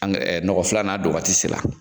An nɔgɔ filanan don waati se la.